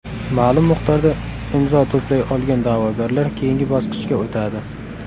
Ma’lum miqdorda imzo to‘play olgan da’vogarlar keyingi bosqichga o‘tadi.